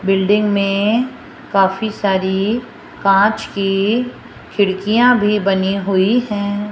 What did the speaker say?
Building में काफी सारी कांच की खिड़कियां भी बनी हुई है।